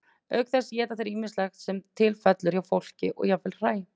auk þess éta þeir ýmislegt sem til fellur hjá fólki og jafnvel hræ